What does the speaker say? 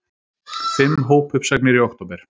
Fimm hópuppsagnir í október